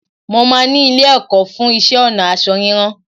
Mo máa ni ilé-ẹ̀kọ́ fú iṣẹ́-ọnà ásọ rírán